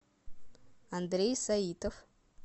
андрей саитов